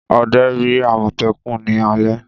Ọdẹ rí àmọ̀tẹ́kùn ní alẹ́.